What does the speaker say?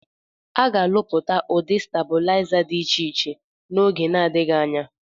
Aga Alụpụta Udị Stabụlịza Dị Ịche Ịche Na - Oge Na Adighi Anya.